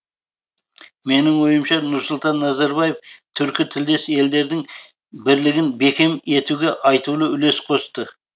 менің ойымша нұрсұлтан назарбаев түркі тілдес елдердің бірлігін бекем етуге айтулы үлес қосты